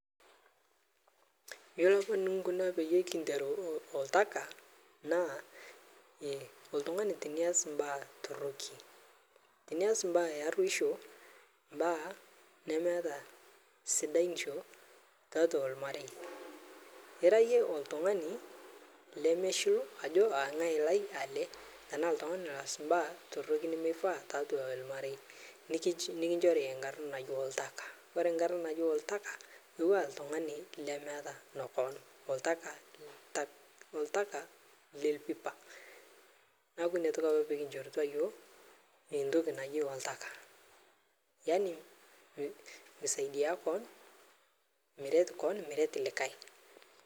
Yiolo apa nikinkuna peyiee kinteru oltaka naa oltungani teniaas mbaa toroki teniaas mbaa ee aruosho mbaa nemeeta sidanisho tiatua olmarei ira iyie oltungani lemeshil ajo aa ngae lai ele ashu ltungani lemees mbaa sidain tiatua olmarei nikinchori nkarna naji oltaka ore nkarna naji oltaka niaku ltungani kemeeta kon niaku ina toki apa pee kinchourutua yiok entoki naji oltaka yani miret kon miret likae